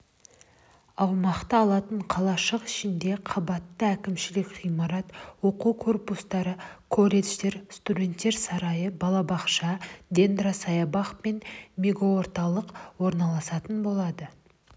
га аумақты алатын қалашық ішінде қабатты әкімшілік ғимарат оқу корпустары колледждер студенттер сарайы балабақша дендросаябақ пен мегаорталық орналасатын болады